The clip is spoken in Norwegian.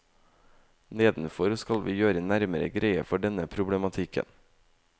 Nedenfor skal vi gjøre nærmere greie for denne problematikken.